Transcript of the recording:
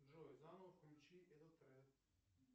джой заново включи этот трек